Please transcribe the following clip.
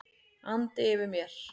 andi yfir mér.